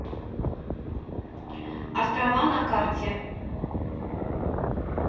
острова на карте